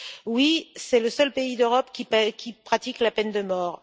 Oui, c'est le seul pays d'Europe qui pratique la peine de mort.